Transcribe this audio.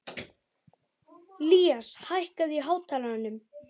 Ilías, hækkaðu í hátalaranum.